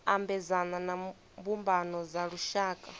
ambedzana na mbumbano dza lushaka